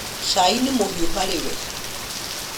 Cai nĩ mũhiũ harĩ we